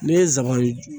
Ne ye zɔbɔn